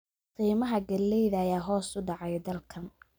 Qiimaha galleyda ayaa hoos u dhacay dalkan